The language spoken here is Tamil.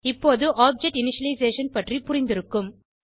இப்போது ஆப்ஜெக்ட் இனிஷியலைசேஷன் பற்றி புரிந்திருக்கும்